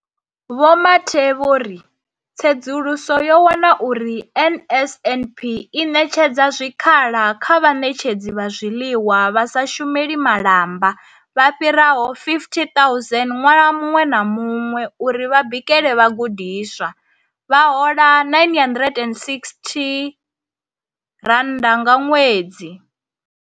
Vho Mathe vho ri, Tsedzuluso yo wana uri NSNP i ṋetshedza zwikhala kha vhaṋetshedzi vha zwiḽiwa vha sa shumeli malamba vha fhiraho 50 000 ṅwaha muṅwe na muṅwe uri vha bikele vhagudiswa, vha hola R960 nga ṅwedzi.